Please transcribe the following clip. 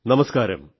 നമസ്കാരം